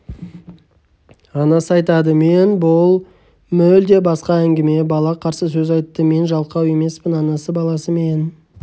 анасы айтады мен бұл мүлде басқа әңгіме бала қарсы сөз айтты мен жалқау емеспін анасы баласымен